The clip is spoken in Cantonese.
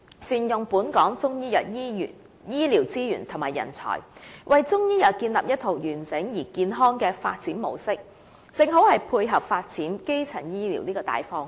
善用本港中醫藥醫療資源及人才，為中醫藥建立一套完整而健康的發展模式，正好配合發展基層醫療的大方向。